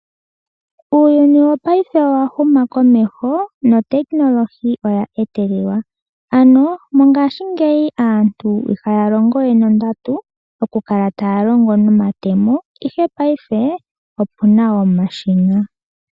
Uuyuni wopaife owa huma komeho notekinilohi oya etelelwa, ano mongaashingeyi aantu ihaya longo we nondatu, oku kala taya longo nomatemo, ihe paife opuna omashina.